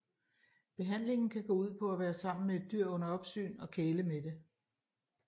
Behandlingen kan gå ud på at være sammen med et dyr under opsyn og kæle med det